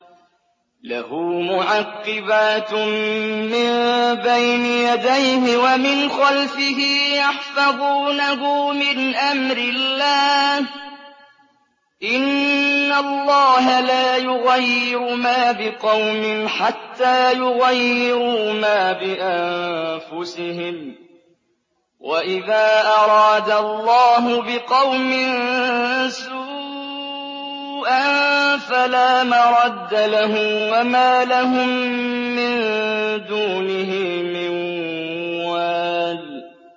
لَهُ مُعَقِّبَاتٌ مِّن بَيْنِ يَدَيْهِ وَمِنْ خَلْفِهِ يَحْفَظُونَهُ مِنْ أَمْرِ اللَّهِ ۗ إِنَّ اللَّهَ لَا يُغَيِّرُ مَا بِقَوْمٍ حَتَّىٰ يُغَيِّرُوا مَا بِأَنفُسِهِمْ ۗ وَإِذَا أَرَادَ اللَّهُ بِقَوْمٍ سُوءًا فَلَا مَرَدَّ لَهُ ۚ وَمَا لَهُم مِّن دُونِهِ مِن وَالٍ